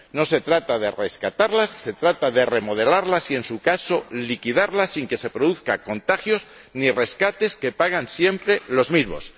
No se trata de rescatarlas, se trata de remodelarlas y, en su caso, liquidarlas sin que se produzcan contagios ni rescates que pagan siempre los mismos.